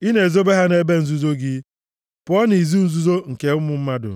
I na-ezobe ha nʼebe nzuzo gị pụọ nʼizu nzuzo nke ụmụ mmadụ;